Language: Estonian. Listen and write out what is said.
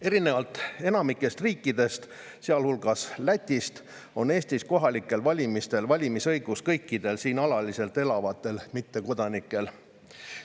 Erinevalt enamikust riikidest, sealhulgas Lätist, on Eestis kohalikel valimistel valimisõigus kõikidel siin alaliselt elavatel mittekodanikel.